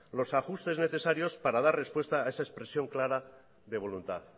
los ajustes necesarios para dar respuesta a esa expresión clara de voluntad